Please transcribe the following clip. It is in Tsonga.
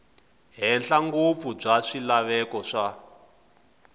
henhla ngopfu bya swilaveko swa